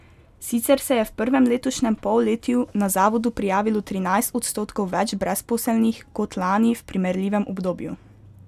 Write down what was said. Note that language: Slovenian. Sicer se je v prvem letošnjem polletju na zavodu prijavilo trinajst odstotkov več brezposelnih kot lani v primerljivem obdobju.